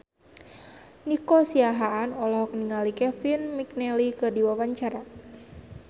Nico Siahaan olohok ningali Kevin McNally keur diwawancara